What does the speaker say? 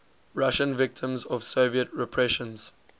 russian victims of soviet repressions